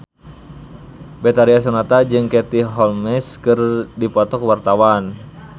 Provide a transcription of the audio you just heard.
Betharia Sonata jeung Katie Holmes keur dipoto ku wartawan